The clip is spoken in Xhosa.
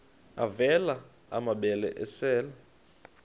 avela amabele esel